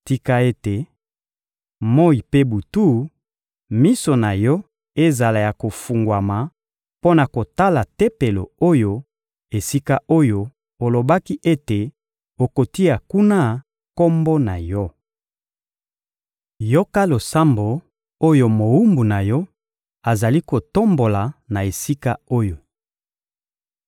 Tika ete, moyi mpe butu, miso na Yo ezala ya kofungwama mpo na kotala Tempelo oyo, esika oyo olobaki ete okotia kuna Kombo na Yo! Yoka losambo oyo mowumbu na Yo azali kotombola na esika oyo!